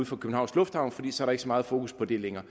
fra københavns lufthavn for så ikke så meget fokus på det længere